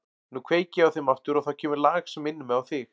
Nú kveiki ég á þeim aftur og þá kemur lag sem minnir mig á þig.